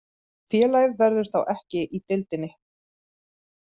Félagið verður þá ekki í deildinni